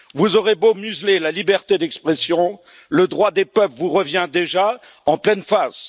Vous aurez beau museler la liberté d'expression, le droit des peuples vous revient déjà en pleine face.